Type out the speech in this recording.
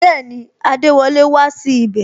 Bẹẹni, adewole wá sí ibè